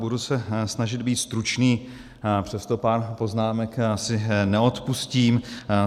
Budu se snažit být stručný, přesto pár poznámek si neodpustím.